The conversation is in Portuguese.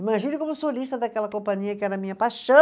Imagine como solista daquela companhia que era a minha paixão.